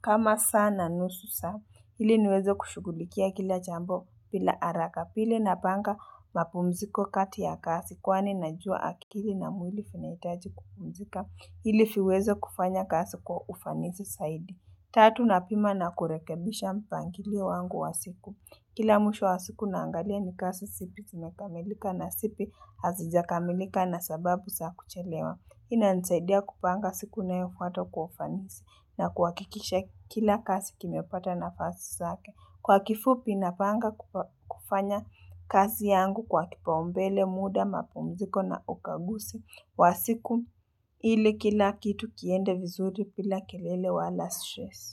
Kama saa na nusu saa. Hili niweze kushugulikia kila jambo pila araka. Pili napanga mapumziko kati ya kasi kwani najua akili na mwili finaitaji kupumzika. Hili fiweze kufanya kasi kwa ufanisi saidi. Tatu na pima na kurekebisha mpangilio wangu wa siku. Kila mwisho wa siku naangalia ni kasi sipi simekamilika na sipi hazijakamilika na sababu sa kuchelewa. Ina nisaidia kupanga siku inayofuata kwa ufanisi na kuwakikisha kila kasi kimepata nafasi sake. Kwa kifupi napanga kufanya kazi yangu kwa kipa umbele muda mapumziko na ukagusi wa siku ili kila kitu kiende vizuri pila kilele wala stress.